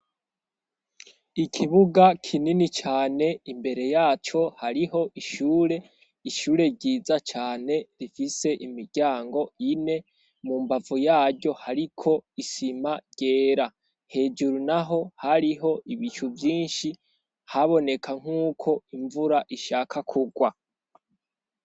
Ikibuga kinini cane imbere yaco hariho ishure, ishure ryiza cane rifise imiryango ine mu mbavu yaryo hariko isima ryera. Hejuru naho hariho ibicu vyinshi haboneka nk'uko imvura ishaka kugwa.